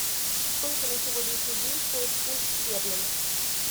сколько на сегодняшний день стоит фунт стерлингов